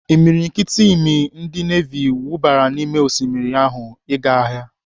Imiriikiti imi ndị nevi wubara n'ime osimmiri ahụ ịga agha.